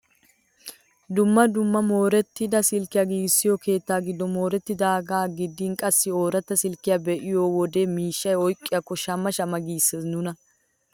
Dumma dumma moorettida silkkiyaa giigissiyoo keettaa giddon moorettidagaa gidin qassi ooratta silkkiyaa be'iyoo wode miishshaa oyqqiyaakko shamma shamma giises nuna!